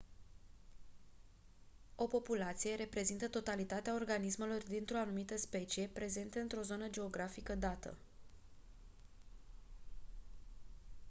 o populație reprezintă totalitatea organismelor dintr-o anumită specie prezente într-o zonă geografică dată